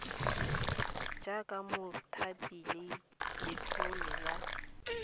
jaaka mothapi le letlole la